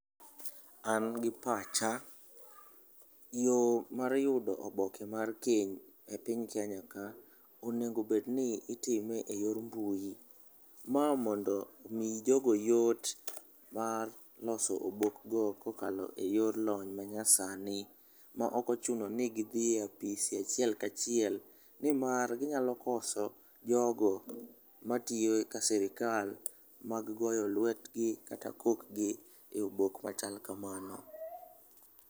An gi pacha, yo mar yudo oboke mar kend e piny kenyaka onego obed ni itime e yo mar mbui, ma mondo omi jogo yot mar loso obokgo kokalo e yor lony manyasani ma ok ochuno ni gidhi e apis achiel kachiel nimar ginyalo koso jogo matiyo ka sirikal mag goyo lwetgi kata kokgi e obok machal kamano.